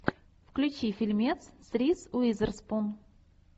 включи фильмец с риз уизерспун